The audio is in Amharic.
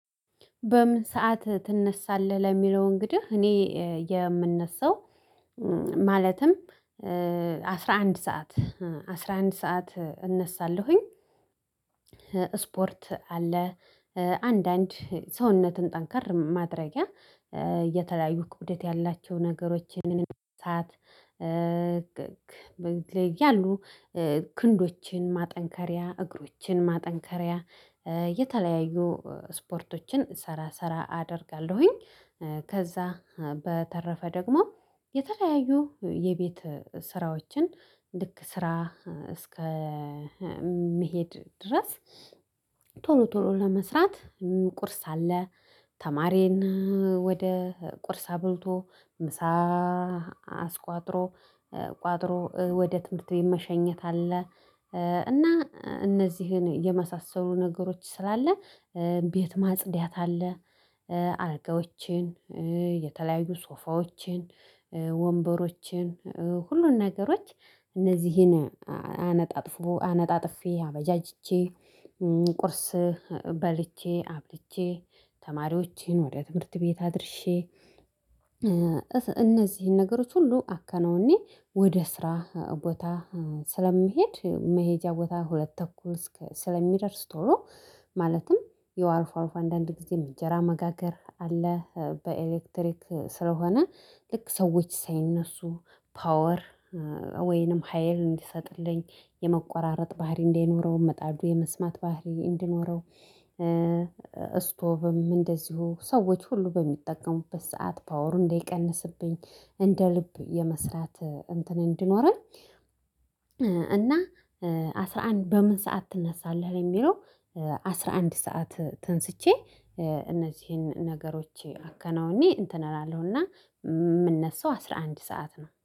በምን ሰዓት ትነሳለህ? ለሚለው እንግዲህ እኔ የምነሳው ማለትም አስራ አንድ ሰዓት አስራ አንድ ሰዓት እነሳለሁኝ። ስፖርት አለ አንዳንድ ሰውነትን ጠንከር ማድረጊያ የተለያዩ ክብደት ያላቸውን ነገሮችን ማንሳት ያሉ ክንዶችን ማጠንከሪያ እግሮችን ማጠንከሪያ የተለያዩ ስፖርቶችን ስራ ስራ አደርጋለሁኝ። ከዛ በተረፈ ደግሞ የተለያዩ የቤት ስራዎችን ልክ ስራ እስከምሄድ ድረስ ቶሎ ቶሎ ለመስራት ቁርስ አለ። ተማሪን ወደ ቁርስ አብልቶ ምሳ አስቋጥሮ ቋጥሮ ወደ ትምህርት ቤት መሸኘት አለ። እና እነዚህን የመሳሰሉ ነገሮች ስላለ ቤት ማጽዳት አለ። አልጋዎችን የተለያዩ ሶፋዎችን ወንበሮችን ሁሉን ነገሮች እነዚህን አነጣጥፎ አነጣጥፌ አበጃጅቼ ቁርስ በልቼ አብልቼ ተማሪዎቼን ወደ ትምህርት ቤት አድርሼ። እነዚህን ነገሮች ሁሉ አከናውኜ ወደ ስራ ቦታ ስለምሄድ መሄጃ ቦታ ሁለት ተኩል ስለሚደርስ ቶሎ ማለትም ያው አልፎ አልፎ አንዳንድ ጊዜ እንጀራ መጋገር አለ። በኤሌክትሪክ ስለሆነ ልክ ሰዎች ሳይነሱ ፓወር ወይንም ሀየል እንዲሰጥልኝ የመቋራረጥ ባህሪ እንዳይኖረው ምጣዱ የመስማት ባህሪ እንዲኖረው። ስቶቭም እንደዚሁ ሰዎች ሁሉ በሚጠቀሙበት ሰዓት ፓወሩ እንዳይቀንስብኝ እንደ ልብ የመስራት እንትን እንዲኖረኝ። እና አስራ አንድ በምን ሰዓት ትነሳለህ? ለሚለው አስራ አንድ ሰዓት ተነስቼ። እነዚህን ነገሮች አከናውኜ እንትን አላለሁ እና የምነሳው አስራ አንድ ሰዓት ነው